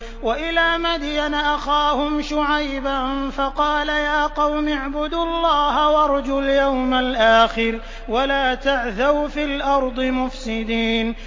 وَإِلَىٰ مَدْيَنَ أَخَاهُمْ شُعَيْبًا فَقَالَ يَا قَوْمِ اعْبُدُوا اللَّهَ وَارْجُوا الْيَوْمَ الْآخِرَ وَلَا تَعْثَوْا فِي الْأَرْضِ مُفْسِدِينَ